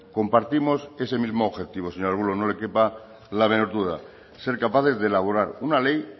compartimos ese mismo objetivo señor arbulo no le quepa la menor duda ser capaces de elaborar una ley